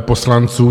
poslanců.